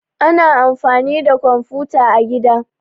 Ana amfani da komfuta a gida